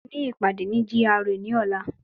Mo ní ìpàdé ní GRA ní ọ̀la